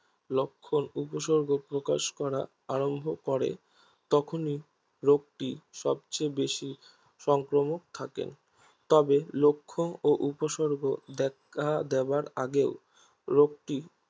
লক্ষন উপসর্গ প্রকাশ করা আরম্ভ করে তখনই রোগটি সবচেয়ে বেশি সংক্রমক থাকে তবে লক্ষন উপসর্গ দেখা দেবার আগেও রোগটি